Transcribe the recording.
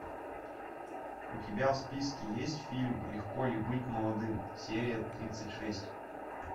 у тебя в списке есть фильм легко ли быть молодым серия тридцать шесть